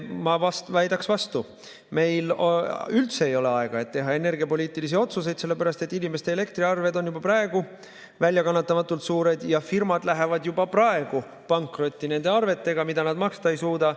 Ma väidaksin vastu: meil ei ole üldse aega, et teha energiapoliitilisi otsuseid, sellepärast et inimeste elektriarved on juba praegu väljakannatamatult suured ja firmad lähevad juba praegu pankrotti nende arvetega, mida nad maksta ei suuda.